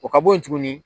O ka bo ye tuguni